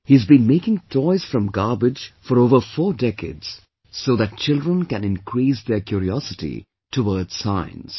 He has been making toys from garbage for over four decades so that children can increase their curiosity towards science